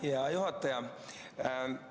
Aitäh, hea juhataja!